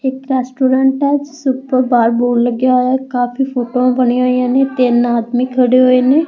ਇੱਕ ਰੈਸਟੋਰੈਂਟ ਆ ਉਸ ਦੇ ਬਾਹਰ ਬੋਰਡ ਲੱਗਿਆ ਹੋਇਆ ਕਾਫੀ ਫੋਟੋਆਂ ਬਣੀਆਂ ਹੋਈਆਂ ਨੇ ਤਿੰਨ ਆਦਮੀ ਖੜੇ ਹੋਏ ਨੇ --